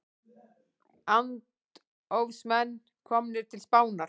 Andófsmenn komnir til Spánar